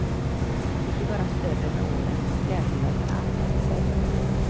Vi blir bara större med åren, och klädtillverkarna anpassar sig.